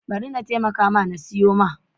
Bari na taimaka ma na siyo.